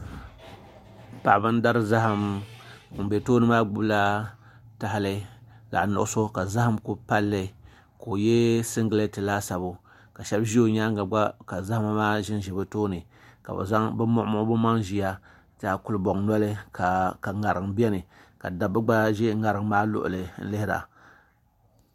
Paɣaba n dari zaham ŋun bɛ tooni maa gbubila tahali zaɣ nuɣso ka zaham ku palli ka o yɛ singirɛt laasabu ka shab ʒi o nyaanga ka zahama maa ʒinʒi bi tooni ka bi muɣu bi maŋ ʒiya kulibɔŋ nɔli ka ŋarim biɛni ka dabba gba ʒi ŋarim maa gbuni n lihira